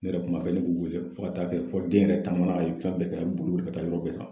Ne yɛrɛ kuma bɛɛ ne b'u wele fo ka taa kɛ fɔ den yɛrɛ taamana a ye fɛn bɛɛ kɛ a bɛ boli boli ka taa yɔrɔ bɛɛ sisan